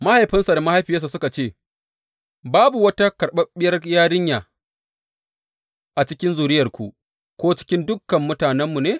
Mahaifinsa da mahaifiyarsa suka ce, Babu wata karɓaɓɓiyar yarinya a cikin zuriyarku ko cikin dukan mutanenmu ne?